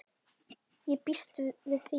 Ég býst við því!